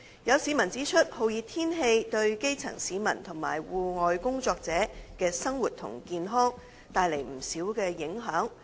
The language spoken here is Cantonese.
有市民指出，酷熱天氣對基層市民及戶外工作者的生活和健康帶來不少影響。